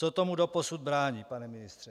Co tomu doposud brání, pane ministře?